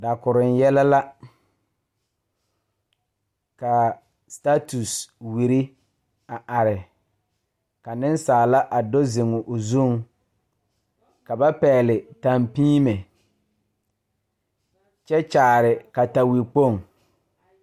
Dakuruŋ yɛlɛ la kaa status wiri a are ka neŋsaala a do zeŋ o zuŋ ka ba pɛgle tampiime kyɛ kyaare kataikpoŋ.